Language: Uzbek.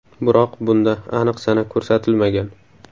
Biroq bunda aniq sana ko‘rsatilmagan.